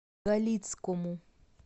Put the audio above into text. галицкому